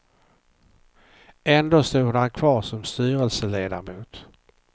Ändå stod han kvar som styrelseledamot.